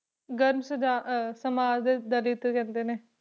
ਸੁਝਾਅ ਅਹ ਸਮਾਜ ਦੇ ਦਲਿੱਤ ਕਹਿੰਦੇ ਨੇ,